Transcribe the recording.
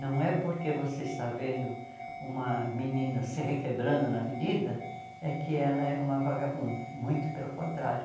Não é porque você está vendo uma menina se requebrando na avenida é que ela é uma vagabunda, muito pelo contrário.